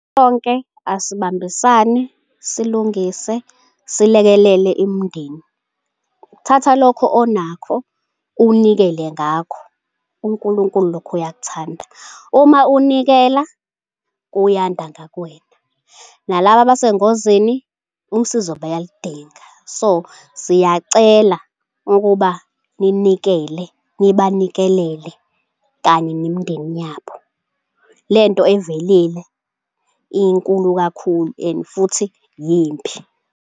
Konke asibambisane silungise silekelele imindeni. Uthatha lokho onakho unikele ngakho uNkulunkulu lokho uyakuthanda. Uma unikela kuyanda ngakuwena nalaba abasengozini usizo bayalidinga. So siyacela ukuba ninikele, nibanikelele kanye nemindeni yabo. Lento evelile inkulu kakhulu and futhi yimbi.